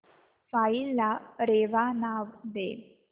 file ला रेवा नाव दे